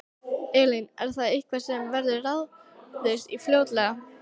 Elín: Er það eitthvað sem verður ráðist í fljótlega?